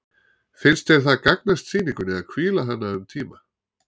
Finnst þér það gagnast sýningunni að hvíla hana um tíma?